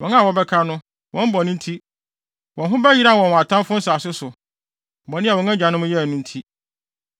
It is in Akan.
Wɔn a wɔbɛka no, wɔn bɔne nti, wɔn ho bɛyeraw wɔn wɔ atamfo nsase so, bɔne a wɔn agyanom yɛe no nti.